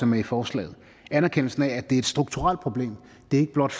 med i forslaget anerkendelsen af at det er et strukturelt problem at det er ikke blot